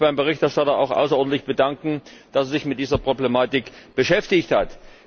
Ich möchte mich beim Berichterstatter auch außerordentlich bedanken, dass er sich mit dieser Problematik beschäftigt hat.